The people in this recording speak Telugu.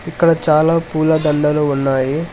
ఇక్కడ చాలా పూల దండలు ఉన్నాయి.